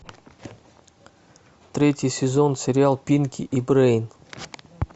третий сезон сериал пинки и брейн